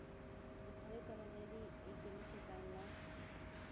ditlhaeletsano le le ikemetseng la